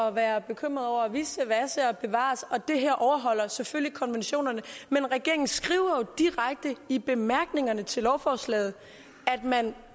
at være bekymret over vissevasse bevar os det her overholder selvfølgelig konventionerne men regeringen skriver jo direkte i bemærkningerne til lovforslaget at man